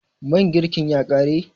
man girkin ya kare?